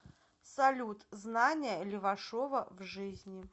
салют знания левашова в жизни